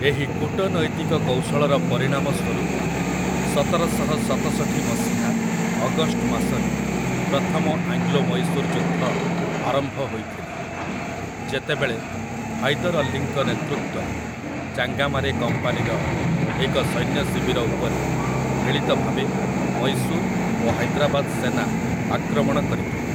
ଏହି କୂଟନୈତିକ କୌଶଳର ପରିଣାମ ସ୍ୱରୂପ ସତରଶହ ଷତସଠି ମସିହା ଅଗଷ୍ଟ ମାସରେ ପ୍ରଥମ ଆଙ୍ଗ୍ଲୋ ମୈଶୂର ଯୁଦ୍ଧ ଆରମ୍ଭ ହୋଇଥିଲା, ଯେତେବେଳେ ହାଇଦର ଅଲ୍ଲୀଙ୍କ ନେତୃତ୍ୱରେ ଚାଙ୍ଗାମାରେ କମ୍ପାନୀର ଏକ ସୈନ୍ୟଶିବିର ଉପରେ ମିଳିତ ଭାବେ ମୈଶୂର ଓ ହାଇଦ୍ରାବାଦ ସେନା ଆକ୍ରମଣ କରିଥିଲେ ।